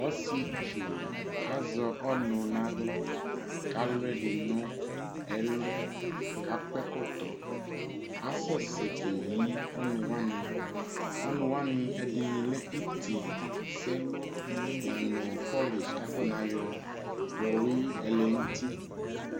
Ɔsietsu azɛ ɔnʋ n'aɣla k'alʋ ɛdi n'ɛlʋ k'ak'ɛkɔtɔ Asɛsɛ keyi ɔnʋ wani Ɔnʋ wani ɛdini lɛ itisɛlʋ na nʋ pɔlish kakɔ nayɔ yɔwui ɛlɛn'ti